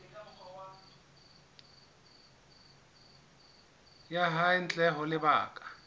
ya hae ntle ho lebaka